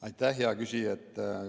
Aitäh, hea küsija!